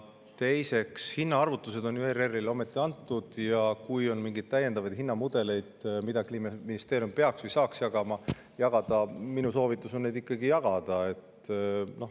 Teiseks, hinnaarvutused on ERR‑ile ju ometi antud ja kui on mingeid täiendavaid hinnamudeleid, mida Kliimaministeerium peaks jagama või saaks jagada, siis minu soovitus on neid ikkagi jagada.